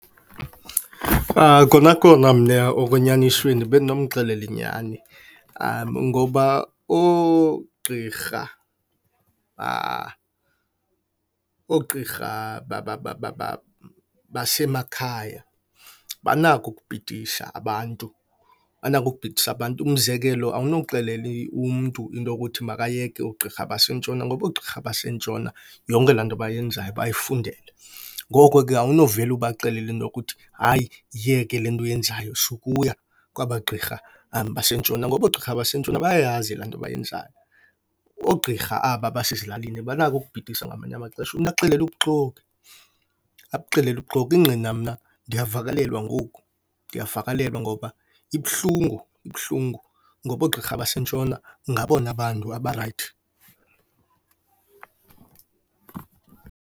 Kona kona mna okwenyanisweni bendinomxelela inyani ngoba oogqirha oogqirha basemakhaya banako ukubhidisa abantu, banako ukubhidisa abantu. Umzekelo, awunoxelela umntu into yokuthi makayeke oogqirha baseNtshona ngoba oogqirha baseNtshona, yonke laa nto bayenzayo bayifundele. Ngoko ke awunovele ubaxelele into yokuthi, hayi, yiyeke le nto uyenzayo, sukuya kwaba gqirha baseNtshona. Ngoba oogqirha baseNtshona bayayazi laa nto bayenzayo. Oogqirha aba basezilalini banako ukubhidisa ngamanye amaxesha, umntu akuxelele ubuxoki, akuxelele ubuxoki. Ingqina mna ndiyavakalelwa ngoku, ndiyavakalelwa ngoba ibuhlungu ibuhlungu ngoba oogqirha baseNtshona ngabona bantu abarayithi.